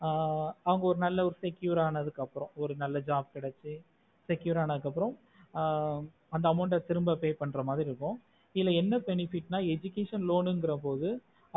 ஆஹ் அவங்க நல்ல ஒரு secure அனா அப்பறம் ஒரு நல்ல job கடைசி secure ஆனதுக்கு அப்புறம் ஆஹ் அந்த amount ஆஹ் திரும்ப pay பண்ணுற மாரி இருக்கும் எதுல என்ன benefit நா education loan என்குறது